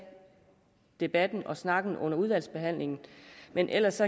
debatten og snakken under udvalgsbehandlingen men ellers